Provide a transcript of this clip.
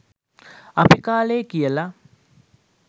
අපි කාලෙ කියල